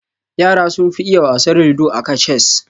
Yara sun fi iya wasar ludo aka cess